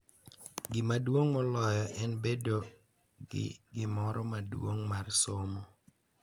Gima duong’ moloyo en bedo gi gimoro maduong’ mar somo.